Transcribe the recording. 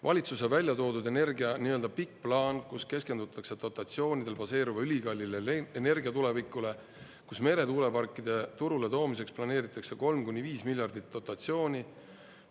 Valitsuse väljatoodud energia nii-öelda pikk plaan, kus keskendutakse dotatsioonidel baseeruva ülikallile energiatulevikule, kus meretuuleparkide turule toomiseks planeeritakse kolm kuni viis miljardit dotatsiooni.